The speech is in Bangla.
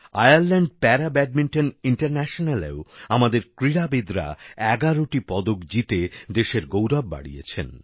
আয়ারল্যান্ড প্যারা ব্যাডমিন্টন ইন্টারন্যাশনালেও আমাদের ক্রীড়াবিদরা এগারোটি পদক জিতে দেশের গৌরব বাড়িয়েছেন